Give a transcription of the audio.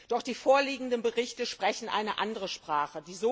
Doch die vorliegenden Berichte sprechen eine andere Sprache.